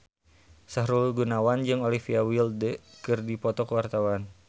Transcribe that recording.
Sahrul Gunawan jeung Olivia Wilde keur dipoto ku wartawan